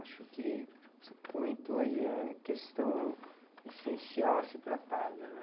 Acho que o que você comentou aí é questão essencial a ser tratada, né?